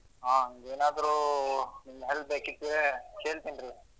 ಹಾ ಏನಾದ್ರು ನಿಮ್ help ಬೇಕಾದ್ರೆ ಕೇಳ್ತೀನಿ ರೀ.